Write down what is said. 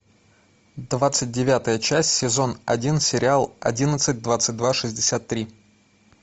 двадцать девятая часть сезон один сериал одиннадцать двадцать два шестьдесят три